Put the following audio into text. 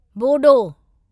Bodo